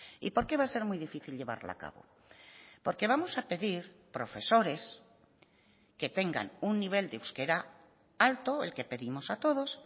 y por qué va a ser muy difícil llevarla a cabo porque vamos a pedir profesores que tengan un nivel de euskera alto el que pedimos a todos